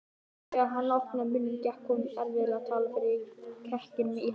Þegar hann opnaði munninn gekk honum erfiðlega að tala fyrir kekkinum í hálsinum.